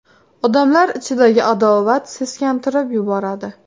Odamlar ichidagi adovat seskantirib yuboradi.